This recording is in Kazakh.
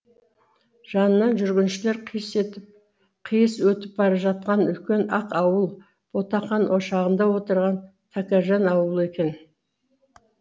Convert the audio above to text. жанынан жүргіншілер қиыс өтіп бара жатқан үлкен ақ ауыл ботақан ошағында отырған тәкежан аулы екен